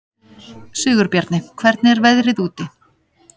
Sigurbjarni, hvernig er veðrið úti?